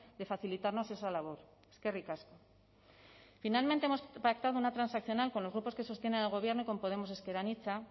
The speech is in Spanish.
de facilitarnos esa labor eskerrik asko finalmente hemos pactado una transaccional con los grupos que sostienen al gobierno y con podemos ezker anitza